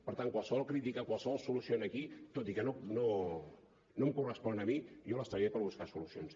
per tant qualsevol crítica qualsevol solució aquí tot i que no em correspon a mi jo hi treballaré per buscar solucions